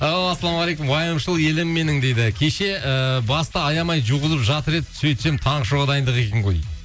ау ассалаумағалейкум уайымшыл елім менің дейді кеше ыыы басты аямай жуғызып жатыр еді сөйтсем таңғы шоуға дайындық екен ғой дейді